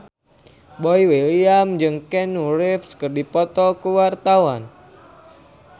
Boy William jeung Keanu Reeves keur dipoto ku wartawan